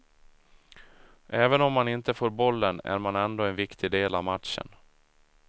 Även om man inte får bollen är man ändå en viktig del av matchen.